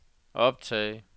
optag